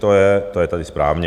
To je tady správně.